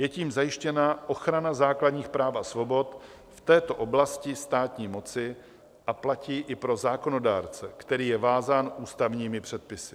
Je tím zajištěna ochrana základních práv a svobod v této oblasti státní moci a platí i pro zákonodárce, který je vázán ústavními předpisy.